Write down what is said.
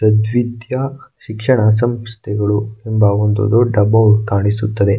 ಸದ್ವಿದ್ಯಾ ಶಿಕ್ಷಣ ಸಂಸ್ಥೆಗಳು ತುಂಬಾ ಒಂದು ದೊಡ್ಡ ಬೌ ಕಾಣಿಸುತ್ತದೆ.